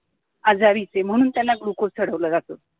आजारी म्हणून त्यांना glucose चढवलं जातं